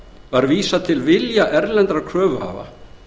var vísað til vilja erlendra kröfuhafa